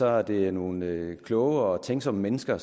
er det nogle kloge og tænksomme mennesker